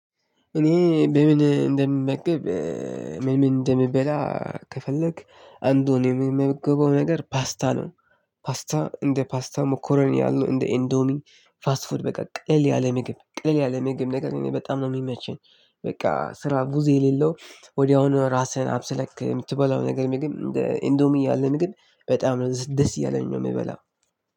እኔ በምን እንደምመገብ ምን እንደምበላ ከፈለክ አንዱን የምመግበው ነገር ፓስታ ነው። ፓስታ እንደ ፓስታ ሞኮሮኒ ያለ እንደ ኢንዶሚ ፋስት ፋድ በቃ ቅልል ያለ ምግብ ቅልል ያለ ምግብ ነገር በጣም ነው የሚመቸኝ። በቃ ስራ ብዙ የሌለው ወዲያውኑ ራስህን አብስለክ የምትበላው ነገር ግን እንደ ኢንዶሚ ያለን ምግብ በጣም ነው ደስ እያለኝ ነው የምበላው።